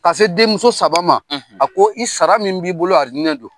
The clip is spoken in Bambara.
Ka se denmuso saba ma a ko i sara min b'i bolo alijinɛ don.